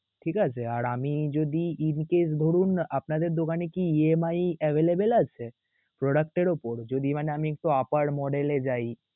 ঠিক আছে? আর আমি যদি এদিকে ধরুন আপনাদের দোকানে কি EMI available আছে product এর উপর? যদি মানে আমি একটু upper model এ যাই.